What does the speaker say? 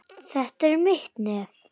Þetta er mitt nef.